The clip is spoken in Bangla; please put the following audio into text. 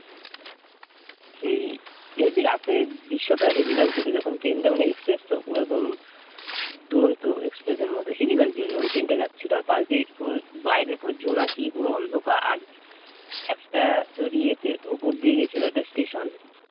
দুরন্ত এক্সপ্রেস এর মত, হেবি লাগছিল যখন ট্রেন টা যাচ্ছিলো আর পাশ দিয়ে পুরো বাইরে পুরো জোনাকি পুরো অন্ধকার আর একটা তোর ইয়েতে উপর দিয়ে গেছিলো ওটা স্টেশন